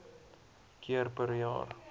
keer per jaar